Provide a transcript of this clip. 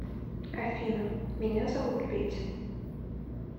афина меня зовут петя